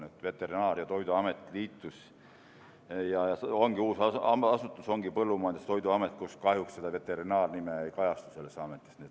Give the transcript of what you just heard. Nii et Veterinaar- ja Toiduamet liitus Põllumajandusametiga ja nüüd on uus asutus Põllumajandus- ja Toiduamet, mille nimes kahjuks see veterinaarpool ei kajastu.